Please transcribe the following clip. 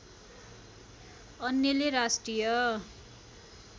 अन्यले राष्ट्रिय